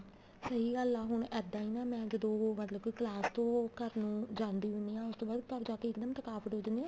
ਸਹੀ ਗੱਲ ਹੈ ਹੁਣ ਇੱਦਾਂ ਹੀ ਨਾ ਮੈਂ ਜਦੋਂ ਮਤਲਬ ਕੀ ਕਲਾਸ ਤੋਂ ਘਰ ਨੂੰ ਜਾਂਦੀ ਹੁੰਦੀ ਆਂ ਉਸ ਤੋਂ ਬਾਅਦ ਘਰ ਜਾ ਕੇ ਇੱਕਦਮ ਥਕਾਵਟ ਹੋ ਜਾਂਦੀ ਆ